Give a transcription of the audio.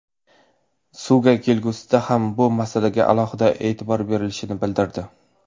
Suga kelgusida ham bu masalaga alohida e’tibor berilishini bildirdi.